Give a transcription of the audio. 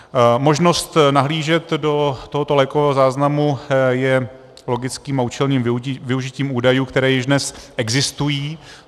Možnost nahlížet do tohoto lékového záznamu je logickým a účelným využitím údajů, které již dnes existují.